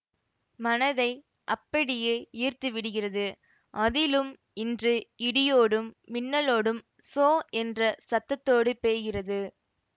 மனதை அப்படியே ஈர்த்துவிடுகிறது அதிலும் இன்று இடியோடும் மின்னலோடும் சோ என்ற சத்தத்தோடு பெய்கிறது